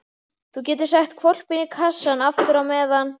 Þú getur sett hvolpinn í kassann aftur á meðan.